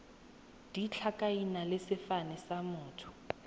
ditlhakaina le sefane sa motho